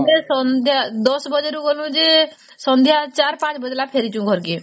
ମାନେ ସନ୍ଧ୍ୟା ୧୦ ବାଜେ ରୁ ଗଲୁ ଯେ ସନ୍ଧ୍ୟା ୪୫ ବାଜିଲା ଫେରିଛୁ ଘରକେ